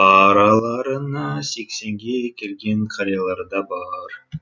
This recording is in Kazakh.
араларына сексенге келген қариялар да бар